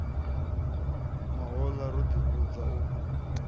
mahoḽa ro ḓi vhudza u